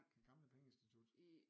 Den gamle pengeinstitut